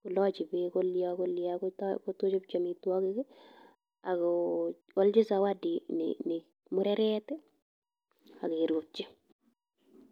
kolochin beek kolia kolia kot kochopchi amitwokik ak ko olchi zawadi nii mureret ak keropchi.